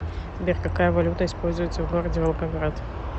сбер какая валюта используется в городе волгоград